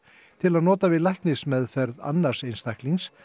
til að nota við læknismeðferð annars einstaklings